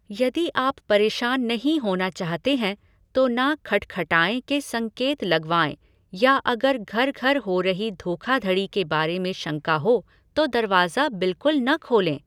यदि आप परेशान नहीं होना चाहते हैं, तो ना खटखटाए के संकेत लगवाएँ या अगर घर घर हो रही धोखाधड़ी के बारे में शंका हो, तो दरवाज़ा बिल्कुल न खोलें।